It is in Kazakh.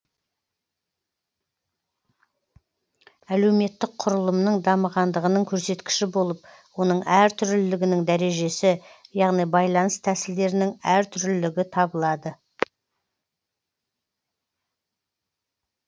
әлеуметтік құрылымның дамығандығының көрсеткіші болып оның әртүрлілігінің дәрежесі яғни байланыс тәсілдерінің әртүрлілігі табылады